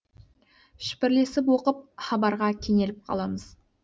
шүпірлесіп оқып хабарға кенеліп қаламыз